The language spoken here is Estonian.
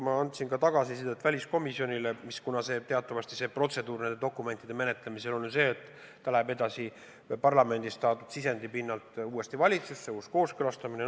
Ma andsin väliskomisjonile ka tagasisidet – teatavasti protseduur selliste dokumentide menetlemisel on säärane, et dokument läheb parlamendist saadud sisendi pinnalt uuesti valitsusse, tuleb uus kooskõlastamine.